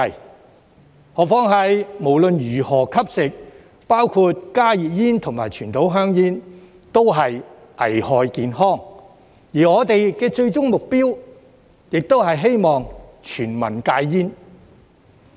更何況，無論如何吸食——包括加熱煙和傳統香煙——均會危害健康，而我們的最終目標亦是希望全民戒煙。